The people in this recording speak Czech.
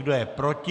Kdo je proti?